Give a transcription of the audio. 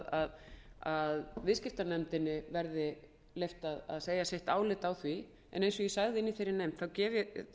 um að viðskiptanefnd verði leyft að segja álit sitt á því en eins og ég sagði í þeirri nefnd